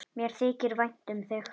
Mér þykir vænt um þig.